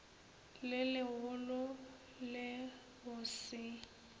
le legolo le go se